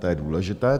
To je důležité.